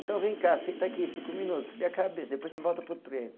Então vem cá, senta aqui cinco minutos, esfria a cabeça, depois você volta para o treino.